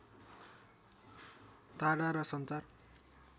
टाढा र सञ्चार